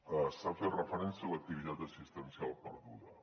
s’ha fet referència a l’activitat assistencial perduda